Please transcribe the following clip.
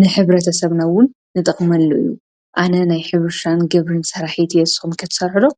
ንሕብረ ተሰብና ዉን ንጠቕመሉ እዩ፡፡ ኣነ ናይ ሐርሻን ግብርናን ሰራሒት እየ፡፡ ንስኹም ትሰርሑ ዶ?